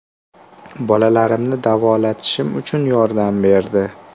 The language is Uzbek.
Bolalarimni davolatishim uchun yordam berdi.